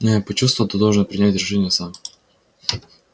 но я почувствовал ты должен принять решение сам